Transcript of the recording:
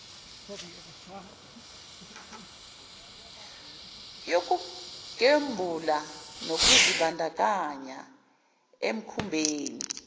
yokugembula nokuzibandakanya emikhubeni